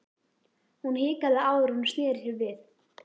Hún hikaði áður en hún sneri sér við.